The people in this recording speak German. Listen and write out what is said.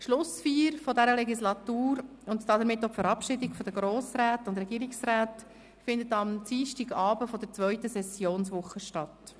Die Schlussfeier dieser Legislaturperiode und damit auch die Verabschiedung der austretenden Grossräte und Regierungsräte findet am Dienstagabend der zweiten Sessionswoche statt.